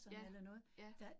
Ja, ja